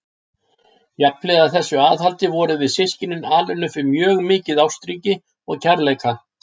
Jafnhliða þessu aðhaldi vorum við systkinin alin upp við mjög mikið ástríki og kærleika.